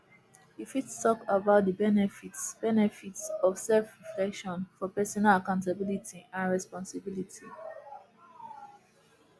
you fit talk about di benefits benefits of selfreflection for personal accountability and responsibility